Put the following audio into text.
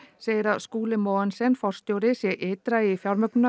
segir að Skúli Mogensen forstjóri sé ytra í